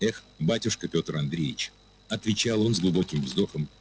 эх батюшка петр андреевич отвечал он с глубоким вздохом